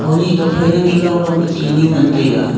honi tokphai nang ye longlong pe tinu ngantaiga.